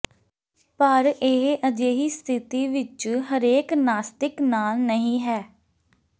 ਪਰ ਇਹ ਅਜਿਹੀ ਸਥਿਤੀ ਵਿਚ ਹਰੇਕ ਨਾਸਤਿਕ ਨਾਲ ਨਹੀਂ ਹੈ